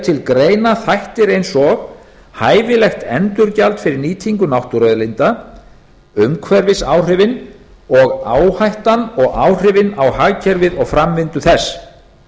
til greina þættir eins og hæfilegt endurgjald fyrir nýtingu náttúruauðlinda umhverfisáhrifin og áhættan og áhrifin á hagkerfið og framvindu þess